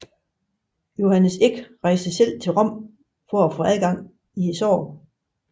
Johannes Eck rejste selv til Rom for at få gang i sagen